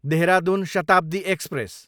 Dehradun Shatabdi express